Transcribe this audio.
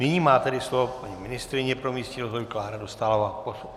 Nyní má tedy slovo paní ministryně pro místní rozvoj Klára Dostálová.